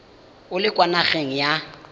o le kwa nageng ya